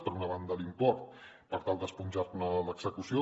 per una banda l’import per tal de esponjar ne l’execució